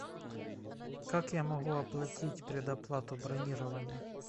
как я могу оплатить предоплату бронирования